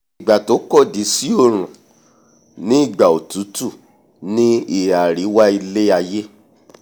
ìgbà tó kọ̀dí sí òòrùn ni ìgbà òtútù ní ìhà àríwá ilé-aiyé